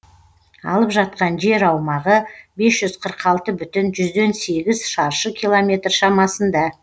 алып жатқан жер аумағы бес жүз қырық алты бүтін жүзден сегіз шаршы километр шамасында